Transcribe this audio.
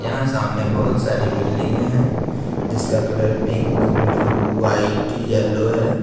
यहां सामने बहोत सारी बिल्डिंगे है जिसका colour pink blue white yellow है।